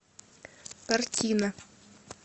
картина